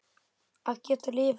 Að geta lifað.